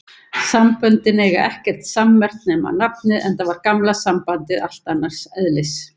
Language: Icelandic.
Samböndin eiga ekkert sammerkt nema nafnið, enda var gamla sambandið allt annars eðlis.